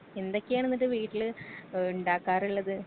എന്തൊക്കെയാണ് ഇന്നിട്ട് വീട്ടില് ഏ ഇണ്ടാക്കാറുള്ളത്.